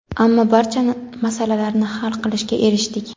ammo barcha masalalarni hal qilishga erishdik.